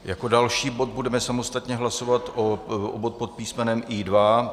Jako další bod budeme samostatně hlasovat bod pod písmenem I2.